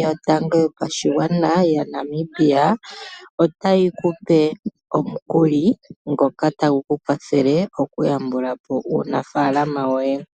yotango yopashigwana yaNamibia otayi ku pe omukuli ngoka tagu ku kwathele okuyambula po uunafaalama woye.